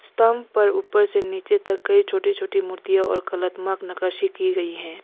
स्तंभ पर ऊपर से नीचे तक कई छोटी छोटी मूर्तियां और कलात्मक नकाशी की गई है।